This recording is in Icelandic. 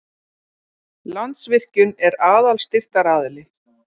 Landsvirkjun er aðal styrktaraðili